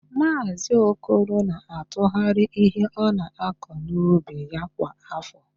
Maazị Okoro na-atụgharị ihe ọ na-akọ n'ubi ya kwa áfọ.